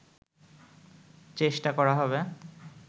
চেষ্টা করা হবে